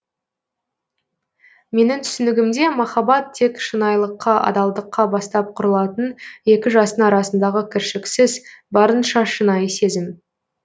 менің түсінігімде махаббат тек шынайылыққа адалдыққа бастап құрылатын екі жастың арасындағы кіршікіз барынша шынайы сезім